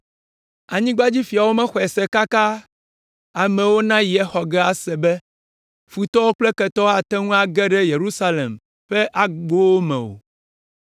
Anyigbadzifiawo mexɔe se kaka, amewo nayi exɔ ge ase be, futɔwo kple ketɔwo ate ŋu age ɖe Yerusalem ƒe agbowo me o.